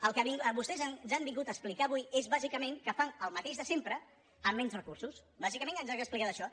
el que vostès ens han vingut a explicar avui és bàsicament que fan el mateix de sempre amb menys recursos bàsicament ens han explicat això